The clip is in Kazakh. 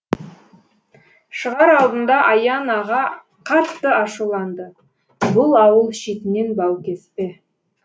шығар алдында аян аға қатты ашуланды бұл ауыл шетінен бау кеспе